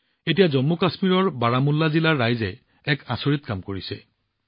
এতিয়া জম্মুকাশ্মীৰৰ বাৰামুল্লা জিলাৰ ৰাইজে এক আচৰিত কাম কৰিছে